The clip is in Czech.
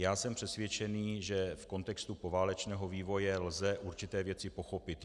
Já jsem přesvědčený, že v kontextu poválečného vývoje lze určité věci pochopit.